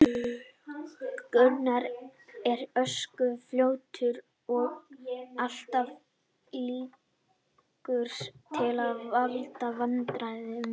Gunnar er ösku fljótur og alltaf líklegur til að valda vandræðum.